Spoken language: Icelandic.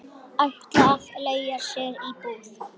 Ætlar að leigja sér íbúð.